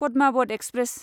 Padmaavat express